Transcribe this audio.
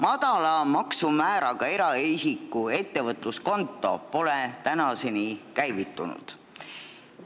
Madala maksumääraga eraisiku ettevõtluskonto pole tänaseni käivitunud.